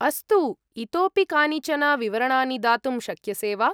अस्तु, इतोऽपि कानिचन विवरणानि दातुं शक्यसे वा?